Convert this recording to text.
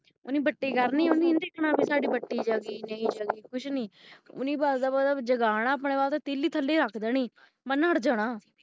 ਉਹਨੇ ਪਟੀ ਕਰਨੀ ਉਹਨੇ ਇਹ ਨਹੀਂ ਦੇਖਣਾ ਸਾਡੀ ਬਤੀ ਜਗੀ ਨਹੀਂ ਜੋਗੀ ਕੁਝ ਨਹੀਂ ਉਹਨੇ ਬਾਹਰ ਦਾ bulb ਜਗਣਾ ਆਪਣੇ ਵਾਸਤੇ ਤੀਲੀ ਥਲੇ ਹੀ ਰਖ ਦੇਣੀ ਮੈਂ ਨਠ ਜਾਣਾ